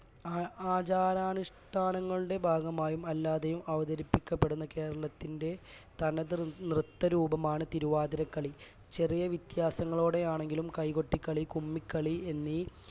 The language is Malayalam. ആഹ് ആചാരാനുഷ്ഠാനങ്ങളുടെ ഭാഗമായും അല്ലാതെയും അവതരിപ്പിക്കപ്പെടുന്ന കേരളത്തിന്റെ തനത് നൃത്തരൂപമാണ് തിരുവാതിരക്കളി ചെറിയ വ്യത്യാസങ്ങളോടെയാണെങ്കിലും കൈകൊട്ടിക്കളി കുമ്മികളി എന്നീ